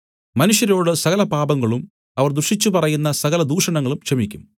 മനുഷ്യരോടു സകലപാപങ്ങളും അവർ ദുഷിച്ചു പറയുന്ന സകല ദൂഷണങ്ങളും ക്ഷമിയ്ക്കും